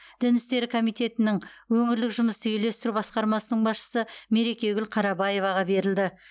дін істері комитетінің өңірлік жұмысты үйлестіру басқармасының басшысы мерекегүл қарабаеваға берілді